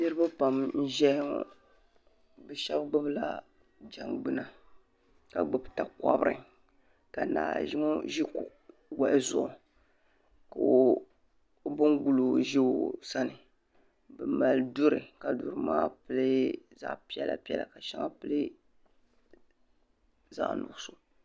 Niriba pam n ʒɛya ŋɔ bɛ sheba gbibila jangbina ka gbibi takobri ka ŋɔ ʒi wahu zuɣu ka o ban guli. o ʒi o sani bɛ mali duri ka duri maa pili zaɣa piɛlla piɛla ka di sheŋa pili zaɣa nuɣuso.